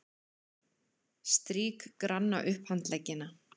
Strýk granna upphandleggina.